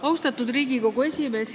Austatud Riigikogu esimees!